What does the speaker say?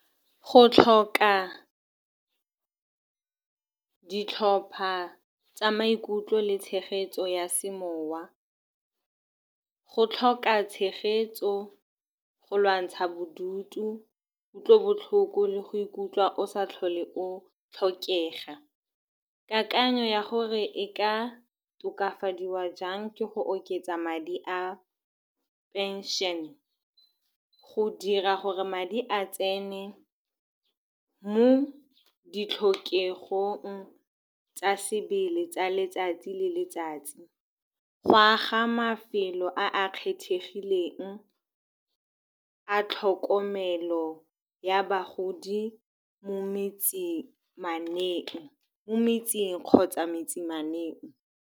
Go tlhoka ditlhopha tsa maikutlo le tshegetso ya semowa, go tlhoka tshegetso go lwantsha bodutu, kutlobotlhoko le go ikutlwa o sa tlhole o tlhokega. Kakanyo ya gore e ka tokafadiwa jang ke go oketsa madi a pension-e, go dira gore madi a tsene mo ditlhokegong tsa sebele tsa letsatsi le letsatsi, go aga mafelo a a kgethegileng a tlhokomelo ya bagodi mo , mo metseng kgotsa .